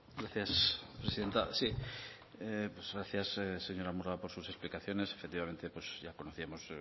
gracias presidenta sí pues gracias señora murga por sus explicaciones efectivamente pues ya conocíamos